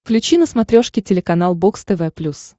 включи на смотрешке телеканал бокс тв плюс